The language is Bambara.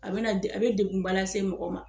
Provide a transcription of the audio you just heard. A be na a be de a be degunba lase mɔgɔ ma